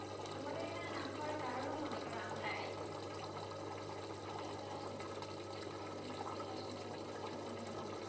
আমাদের এখানে না হয়ে কারণ হলো মনে করো আমরা হ্যাঁ তা ঠিক আমাদের জন্য আসলে এই আবহাওয়া অবস্থা